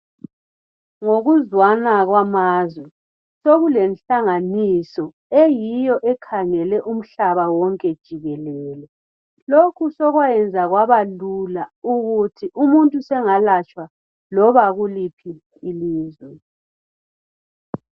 Ngokuzwana kwamazwe sekulenhlanganiso eyiyo ekhangele umhlaba wonke jikelele. Lokhu sokwayenzwa kwabalula ukuthi umuntu sengalatshwa liba kuliphi ilizwe.